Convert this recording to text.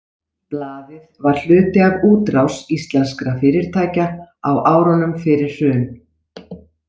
Blaðið var hluti af útrás íslenskra fyrirtækja á árunum fyrir hrun.